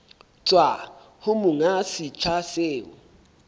tswa ho monga setsha seo